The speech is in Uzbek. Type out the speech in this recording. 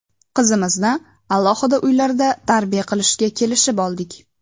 Qizimizni alohida uylarda tarbiya qilishga kelishib oldik.